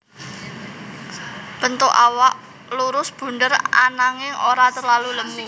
Bentuk awak lurus bunder ananging ora terlalu lemu